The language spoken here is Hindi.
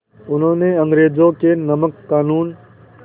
उन्होंने अंग्रेज़ों के नमक क़ानून